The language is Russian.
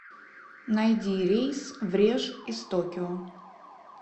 найди рейс в реж из токио